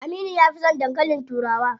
Aminu ya fi son dankalin turawa.